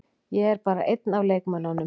Ég er bara einn af leikmönnunum.